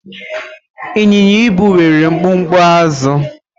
ịnyịnya -ibu nwere mkpumkpu azụ